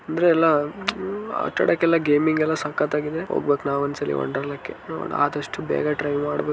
ಅಂದ್ರೆ ಎಲ್ಲಾ ಆಟ ಆಡಕ್ಕೆಲ್ಲ ಗೇಮಿಂಗ್ ಎಲ್ಲಾ ಸಕ್ಕತ್ತಾಗಿದೆ ಹೋಗ್ಬೇಕ್ ನಾವ್ ಒಂದ್ಸಲ ವಂಡರ್ ಲಾ ಕ್ಕೆ ನೋಡೋಣ ಆದಷ್ಟು ಬೇಗ ಟ್ರೈ ಮಾಡ್ಬೇಕು.